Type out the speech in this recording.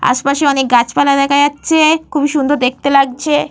আশপাশে অনেক গাছপালা দেখা যাচ্ছে। খুবই সুন্দর দেখতে লাগছে।